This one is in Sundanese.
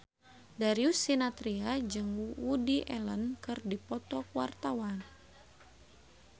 Darius Sinathrya jeung Woody Allen keur dipoto ku wartawan